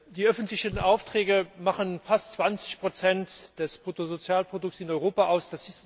Die öffentlichen Aufträge machen fast 20 des Bruttosozialprodukts in Europa aus.